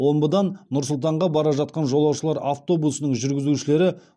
омбыдан нұр сұлтанға бара жатқан жолаушылар автобусының жүргізушілері